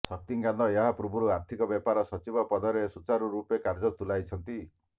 ଶକ୍ତିକାନ୍ତ ଏହା ପୂର୍ବରୁ ଆର୍ଥିକ ବ୍ୟାପାର ସଚିବ ପଦରେ ସୁଚାରୁ ରୂପେ କାର୍ଯ୍ୟ ତୁଲାଇଛନ୍ତି